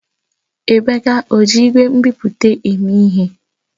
Emeka ọ ji igwe nbipute eme ihe?